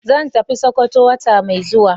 Zan tafi sokoto wata mai zuwa.